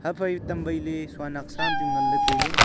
aphai tamwai le soanak sa am chu nganle taile.